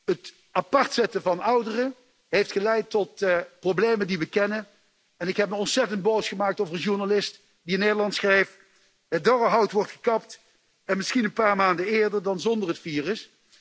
Het apart zetten van ouderen heeft geleid tot de problemen die we kennen, en ik heb me ontzettend boos gemaakt over een journalist die in Nederland schreef Het dorre hout wordt gekapt, misschien een paar maanden eerder dan zonder het virus.